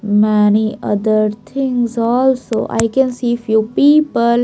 many other things also i can see few people.